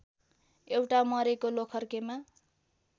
एउटा मरेको लोखर्केमा